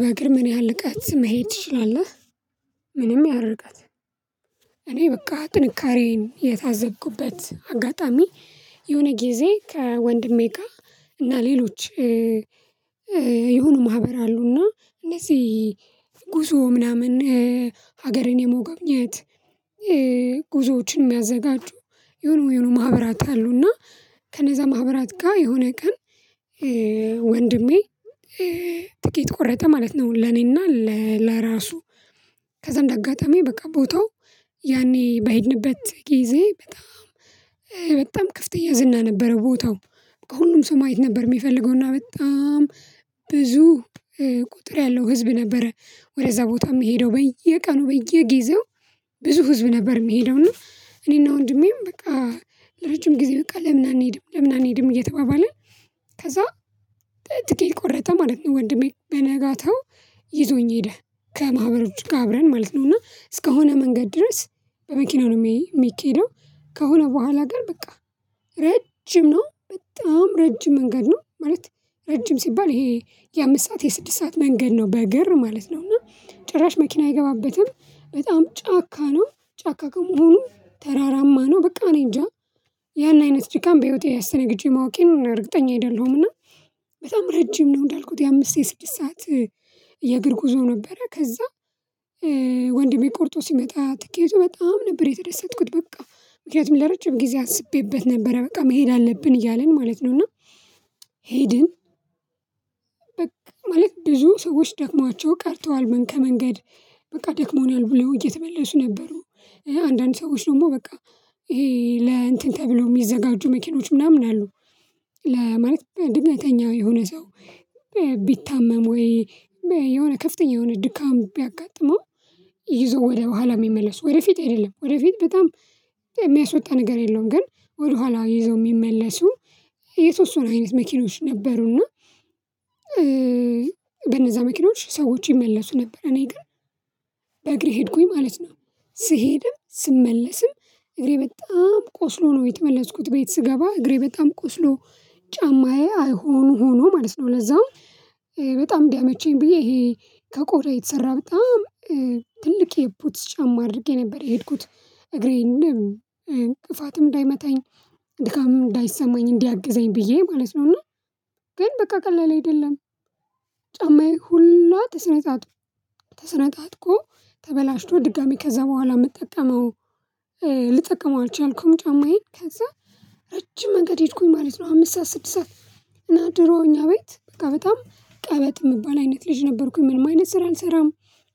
በእግር ምን ያህል ርቀት መሄድ ትችላለህ? ምንም ያህል ርቀት። እኔ በቃ ጥንካሬን የታዘብኩበት አጋጣሚ የሆነ ጊዜ ከወንድሜ ጋር እና ሌሎች- የሆኑ ማህበር አሉና እነዚህ ጉዞ ምናምን ሀገርን የመጎብኘት- ጉዞዎችን የሚያዘጋጁ የሆነ የሆነ ማህበራት አሉና ከነዛ ማህበራት ጋር የሆነ ቀን- ወንድሜ ትኬት ቆረጠ ማለት ነው። ለኔና ለራሱ ከዛም አጋጣሚ በቃ ቦታው ያኔ በሄድንበት ጊዜ በጣም- በጣም ክፍት ያዝና ነበረ ቦታው። ከሁሉም ሰው ማየት ነበር የሚፈልገው። እና በጣም ብዙ- ቁጥር ያለው ህዝብ ነበረ ወደዛ ቦታ የሚሄደው በየቀኑ በየጊዜው ብዙ ህዝብ ነበር የምሄደው እና እኔና ወንድሜም በቃ ለረጅም ጊዜ በቃ ለምን አንሄድም ለምን አንሄድም እየተባባልን- ከዛ ትኬት ቆረጠ ማለት ነው ወንድሜ። በነጋታው- ይዞኝ ሄደ ከማህበሮች ጋር አብረን ማለት ነው እና እስከሆነ መንገድ ድረስ በመኪና ነው የሚኬደው። ከሆነ በኋላ ጋር በቃ ረጅም ነው በጣም ረጅም መንገድ ነው። ማለት ረጅም ሲባል ይሄ- የአምስት ሰዓት የስድስት ሰዓት መንገድ ነው በእግር ማለት ነው። እና ጭራሽ መኪና አይገባበትም። በጣም ጫካ ነው። ጫካ ከመሆኑ ተራራማ ነው። በቃ እኔ እንጃ ያን አይነት ድካም በህይወቴ አስተናግጀ ማወቄን እርግጠኛ አይደለሁም። ና በጣም ረጅም ነው። እንዳልኩት የአምስት የስድስት ሰዓት- የእግር ጉዞ ነበረ። ከዛ- ወንድሜ ቆርጦ ሲመጣ ትኬቱ በጣም ነበር የተደሰትኩት በቃ። ምክንያቱም ለረጅም ጊዜ አስቤበት ነበረ በቃ መሄድ አለብን እያልን ማለት ነው። እና- ሄድን በቃ ማለት ብዙ ሰዎች ደክሟቸው ቀርተዋል ምን ከመንገድ። በቃ ደክሞናል ብለው እየተመለሱ ነበሩ። አንዳንድ ሰዎች ደግሞ በቃ ይሄ ለእንትን ተብለው የሚዘጋጁ መኪኖች ምናምን አሉ- ለማለት ድንገተኛ የሆነ ሰው- ቢታመም ወይ የሆነ ከፍተኛ የሆነ ድካም ቢያጋጥመው ይዘው ወደ በኋላ የሚመለሱ ወደፊት አይደለም ወደፊት በጣም የሚያስወጣ ነገር የለውም። ግን ወደኋላ ይዘው የሚመለሱ- የሶስት ሰው አይነት መኪኖች ነበሩ። እና በነዛ መኪኖች ሰዎች ይመለሱ ነበር። እኔ ግን በእግሬ ሄድኩኝ ማለት ነው። ስሄድም ስመለስም እግሬ በጣም ቆስሎ ነው የተመለስኩት። ቤት ስገባ እግሬ በጣም ቆስሎ- ጫማዬ አይሆን ሆኖ ማለት ነው። ለዛውም- በጣም ቢያመቸኝ ብዬ ይሄ ከቆዳ የተሰራ በጣም ትልቅ የፖትስ ጫማ አድርጌ ነበር የሄድኩት። እግሬን እንደም እንቅፋትም እንዳይመታኝ ድካምም እንዳይሰማኝ እንዲያግዘኝ ብዬ ማለት ነው ና። ግን በቃ ቀላል አይደለም። ጫማዬ ሁሉ ተሰነጣጥቆ ተሰነጣጥቆ ተበላሽቶ ድጋሚ ከዛ በኋላ የምጠቀመው- ልጠቀመው አልቻልኩም ጫማዬን። ከዛ- ረጅም መንገድ ሄድኩኝ ማለት ነው። አምስት ሰዓት :ስድስት ሰዓት እና ድሮ እኛ ቤት በጣም ቀበጥ የምባል አይነት ልጅ ነበርኩኝ። ምንም አይነት ስራ አልሰራም።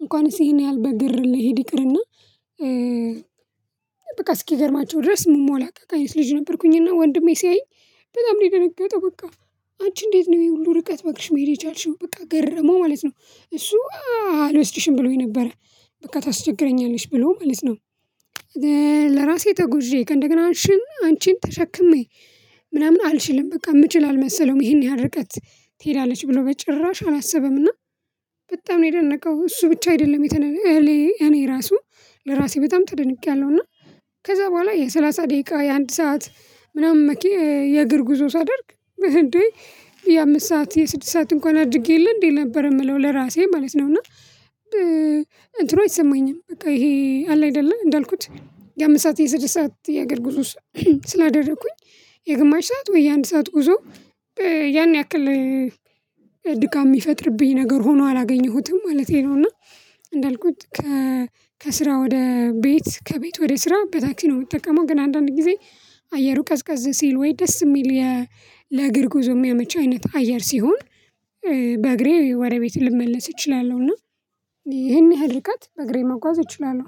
እንኳንስ ይሄን ያህል በእግር ልሄድ ይቅርና- በቃ እስኪገርማቸው ድረስ የምሞላቀቅ አይነት ልጅ ነበርኩኝና። ወንድሜ ሲያይ በጣም ነው የደነገጠው በቃ። አንቺ እንዴት ነው ይሄ ሁሉ ርቀት በእግርሽ መሄድ የቻልሽው በቃ ገረመው ማለት ነው። እሱ- አልወስድሽም ብሎኝ ነበረ በቃ ታስቸግረኛለሽ ብሎ ማለት ነው። ለራሴ ተጉዤ ከእንደገና አንቺን ተሸክሜ ምናምን አልችልም። በቃ የምችል አልመሰለውም ይሄን ያህል ርቀት ትሄዳለች ብሎ በጭራሽ አላሰበም እና። በጣም ነው የደነቀው እሱ ብቻ አይደለም የተነለ እህሌ እኔ ራሱ ለራሴ በጣም ተደንቄያለሁ። እና ከዛ በኋላ የሰላሳ ደቂቃ :የአንድ ሰዓት ምናምን መኪ የእግር ጉዞ ሳደርግ እንዴ የአምስት ሰዓት የስድስት ሰዓት እንኳን አድርጌ የለ እንዴ ነበር የምለው ለራሴ ማለት ነው። እና- እንትኑ አይሰማኝም። በቃ ይሄ አለ አይደለ እንዳልኩት- የአምስት ሰዓት :የስድስት ሰዓት የእግር ጉዞ ስላደረኩኝ የግማሽ ሰዓት ወይ የአንድ ሰዓት ጉዞ- ያን ያክል ድካም የሚፈጥርብኝ ነገር ሆኖ አላገኘሁትም ማለቴ ነው። እና እንዳልኩት ከ ከስራ ወደ ቤት :ከቤት ወደ ስራ በታክሲ ነው የምትጠቀመው። ግን አንዳንድ ጊዜ አየሩ ቀዝቃዝ ሲል ወይ ደስ የሚል ለእግር ጉዞ የሚያመች አይነት አየር ሲሆን- በእግሬ ወደ ቤት ልመለስ እችላለሁና። ይሄን ያህል ርቀት በእግሬ መጓዝ እችላለሁ።